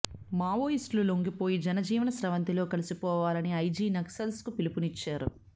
మావోస్ట్లు లొంగిపోయి జనజీవన స్రవంతిలో కలిసిపోవాలని ఐజి నక్సల్స్ కు పిలుపునిచ్చారు